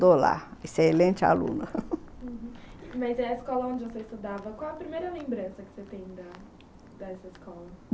excelente aluna uhum. Mas a escola onde você estudava, qual a primeira lembrança que você tem da, dessa escola?